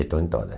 Estou em todas.